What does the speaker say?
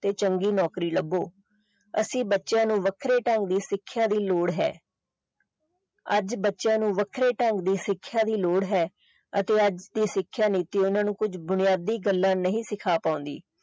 ਤੇ ਚੰਗੀ ਨੌਕਰੀ ਲੱਭੋ ਅਸੀਂ ਬੱਚਿਆਂ ਨੂੰ ਵੱਖਰੇ ਢੰਗ ਦੀ ਸਿੱਖਿਆ ਦੀ ਲੋੜ ਹੈ ਅੱਜ ਬੱਚਿਆਂ ਨੂੰ ਵੱਖਰੇ ਢੰਗ ਦੀ ਸਿੱਖਿਆ ਦੀ ਲੋੜ ਹੈ ਅਤੇ ਅੱਜ ਦੀ ਸਿੱਖਿਆ ਨੀਤੀ ਓਹਨਾ ਨੂੰ ਕੁਝ ਬੁਨਿਆਦੀ ਗੱਲਾਂ ਨਹੀਂ ਸਿਖਾ ਪਾਉਂਦੀ।